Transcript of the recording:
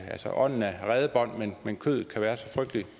ånden er redebon men kødet kan være så frygtelig